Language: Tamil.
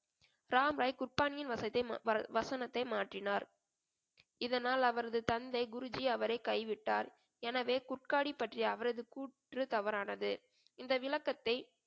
ராம்ராய் குட்பானியின் வசதே~ ம~ வ~ வசனத்தை மாற்றினார் இதனால் அவரது தந்தை குருஜி அவரை கைவிட்டார் எனவே குட்காடி பற்றிய அவரது கூற்று தவறானது இந்த விளக்கத்தை